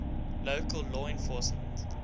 local law enforcement